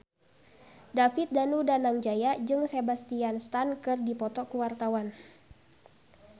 David Danu Danangjaya jeung Sebastian Stan keur dipoto ku wartawan